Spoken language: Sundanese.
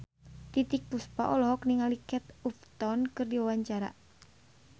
Titiek Puspa olohok ningali Kate Upton keur diwawancara